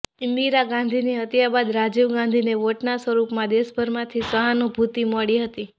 ઇંદિરા ગાંધીની હત્યા બાદ રાજીવ ગાંધીને વોટના સ્વરૂપમાં દેશભરમાંથી સહાનુભૂતિ મળી હતી